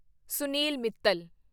Sunil Mittal